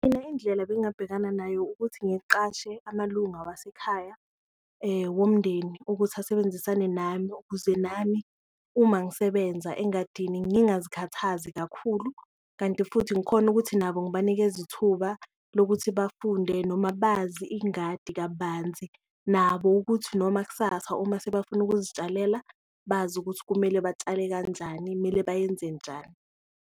Mina indlela ebengabhekana nayo ukuthi ngiqashe amalunga wasekhaya womndeni ukuthi asebenzisane nami ukuze nami uma ngisebenza engadini engingazikhathazi kakhulu, kanti futhi ngikhone ukuthi nabo ngibanikeze ithuba lokuthi bafunde noma bazi ingadi kabanzi. Nabo ukuthi noma kusasa uma sebafuna ukuzitshalela bazi ukuthi kumele batshale kanjani, kumele bayenze njani.